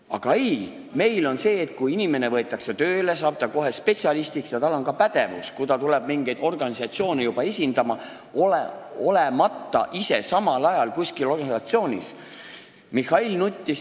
Aga ei, meil on nii, et kui inimene võetakse tööle, saab ta kohe spetsialistiks, ja kui ta hakkab mingeid organisatsioone esindama, olemata ise samal ajal üheski organisatsioonis, siis on tal kohe pädevus.